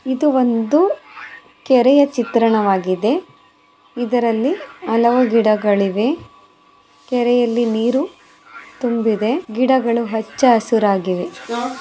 ಇದು ಒಂದು ಕೆರೆಯ ಚಿತ್ರವಾಗಿದೆ. ಇದರಲ್ಲಿ ಹಲವು ಗಿಡಗಳಿವೆ. ಕೆರೆಯಲ್ಲಿ ನೀರು ತುಂಬಿದೆ ಗಿಡಗಳು ಹಚ್ಚ ಹಸುರಾಗಿದೆ.